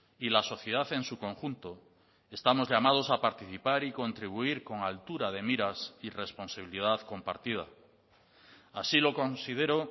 y la sociedad en su conjunto estamos llamados a participar y contribuir con altura de miras y responsabilidad compartida así lo considero